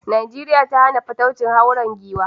Najeriya ta hana fataucin hauren giwa.